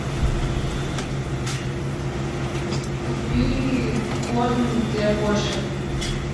купи корм для кошек